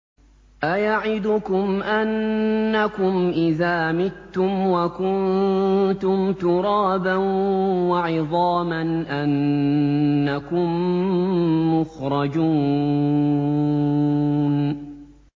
أَيَعِدُكُمْ أَنَّكُمْ إِذَا مِتُّمْ وَكُنتُمْ تُرَابًا وَعِظَامًا أَنَّكُم مُّخْرَجُونَ